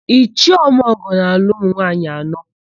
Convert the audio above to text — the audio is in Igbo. Ichie Omeọgọ na-alụ ụmụnwaanyị anọ.